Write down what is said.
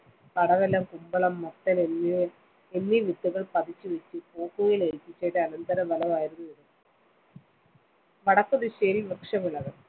പടവലം, കുമ്പളം, മത്തന്‍, തുടങ്ങിയ വിത്തുകള്‍ പതിച്ചുവെച്ച് പോക്കുവെയില്‍ ഏല്‍പിച്ചതിന്റെ അനന്തരഫലമായിരുന്നു ഇത്. വടക്കുദിശയില്‍ വൃക്ഷവിളകള്‍.